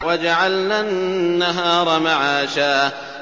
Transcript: وَجَعَلْنَا النَّهَارَ مَعَاشًا